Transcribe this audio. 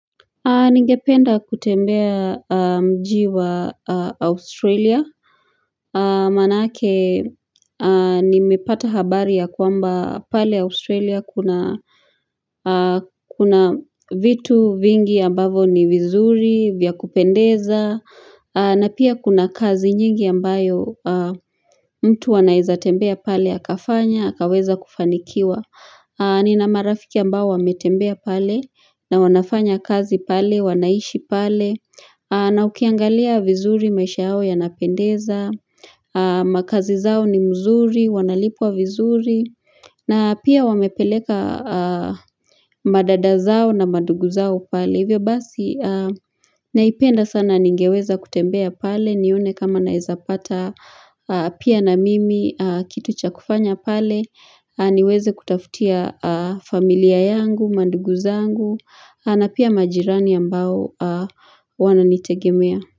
Ningependa kutembea mji wa Australia Manaake nimepata habari ya kwamba pale Australia kuna kuna vitu vingi ambavo ni vizuri vya kupendeza na pia kuna kazi nyingi ambayo mtu anaezatembea pale akafanya akaweza kufanikiwa Nina marafiki ambao wametembea pale na wanafanya kazi pale, wanaishi pale na ukiangalia vizuri maisha yao yanapendeza makazi zao ni mzuri, wanalipwa vizuri na pia wamepeleka madada zao na madugu zao pale Hivyo basi naipenda sana ningeweza kutembea pale nione kama naezapata pia na mimi kitu cha kufanya pale niweze kutafutia familia yangu, mandugu zangu na pia majirani ambao wananitegemea.